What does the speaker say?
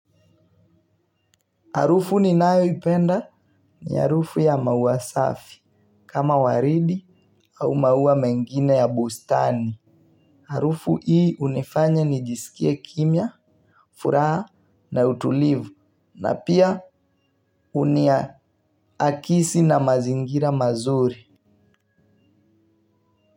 Harufu ni nayo ipenda ni harufu ya maua safi kama waridi au maua mengina ya bustani. Harufu hii unifanya ni jisikie kimya, furaha na utulivu na pia unia akisi na mazingira mazuri.